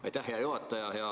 Aitäh, hea juhataja!